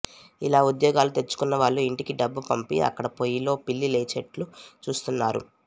ఇలా ఉద్యోగాలు తెచ్చుకున్నవాళ్లు యింటికి డబ్బు పంపి అక్కడ పొయ్యిలో పిల్లి లేచేట్లు చూస్తున్నారు